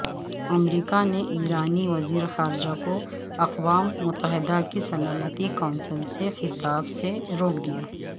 امریکانےایرانی وزیرخارجہ کواقوام متحدہ کی سلامتی کونسل سےخطاب سےروک دیا